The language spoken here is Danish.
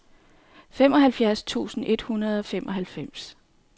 femoghalvfjerds tusind et hundrede og femoghalvfems